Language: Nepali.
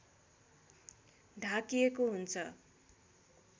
ढाकिएको हुन्छ